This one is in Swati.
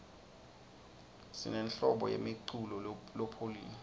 sinenhlobo yemiculo lopholile